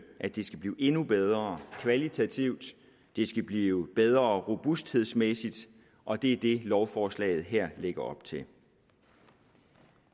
at det skal blive endnu bedre kvalitativt det skal blive bedre robusthedsmæssigt og det er det lovforslaget her lægger op til